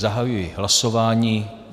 Zahajuji hlasování.